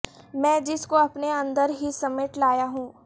میں جس کو اپنے اندر ہی سمیٹ لایا ہوں